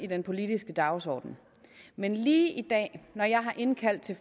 den politiske dagsorden men lige i dag når jeg har indkaldt til